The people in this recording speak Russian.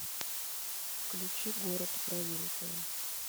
включи город провинция